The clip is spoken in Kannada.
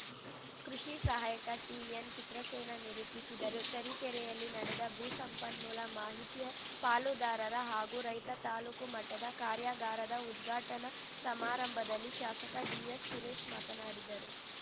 ಕೃಷಿ ಸಹಾಯಕ ಟಿಎನ್‌ಚಿತ್ರಸೇನ ನಿರೂಪಿಸಿದರು ತರೀಕೆರೆಯಲ್ಲಿ ನಡೆದ ಭೂ ಸಂಪನ್ಮೂಲ ಮಾಹಿತಿ ಪಾಲುದಾರರ ಹಾಗೂ ರೈತ ತಾಲೂಕು ಮಟ್ಟದ ಕಾರ್ಯಾಗಾರದ ಉದ್ಘಾಟನಾ ಸಮಾರಂಭದಲ್ಲಿ ಶಾಸಕ ಡಿಎಸ್‌ ಸುರೇಶ್‌ ಮಾತನಾಡಿದರು